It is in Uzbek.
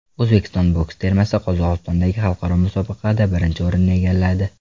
O‘zbekiston boks termasi Qozog‘istondagi xalqaro musobaqada birinchi o‘rinni egalladi.